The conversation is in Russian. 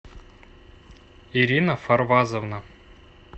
ирина фарвазовна